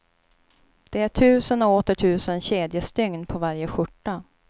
Det är tusen och åter tusen kedjestygn på varje skjorta.